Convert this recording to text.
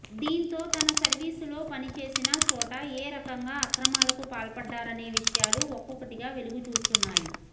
దీంతో తన సర్వీసులో పనిచేసిన చోట ఏ రకంగా అక్రమాలకు పాల్పడ్డారనే విషయాలు ఒక్కొక్కటిగా వెలుగుచూస్తున్నాయి